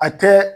A tɛ